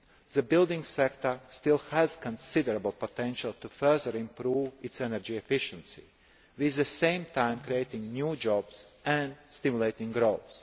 policy. The building sector still has considerable potential to further improve its energy efficiency, at the same time creating new jobs and stimulating